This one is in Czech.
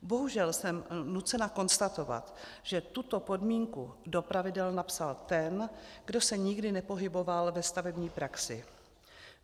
Bohužel jsem nucena konstatovat, že tuto podmínku do pravidel napsal ten, kdo se nikdy nepohyboval ve stavební praxi.